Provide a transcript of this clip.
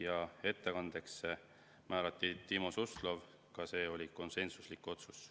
Ja ettekandjaks määrati Timo Suslov, ka see oli konsensuslik otsus.